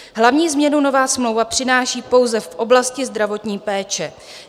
Hlavní změnu nová smlouva přináší pouze v oblasti zdravotní péče.